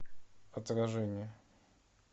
отражение